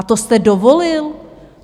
A to jste dovolil?